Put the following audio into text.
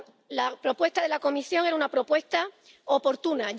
La propuesta de la Comisión era una propuesta oportuna.